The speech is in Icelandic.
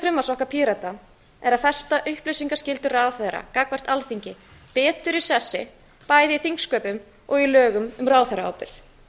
þessa frumvarps okkar pírata er að festa upplýsingaskyldu ráðherra gagnvart alþingi betur í sessi bæði í þingsköpum og í lögum um ráðherraábyrgð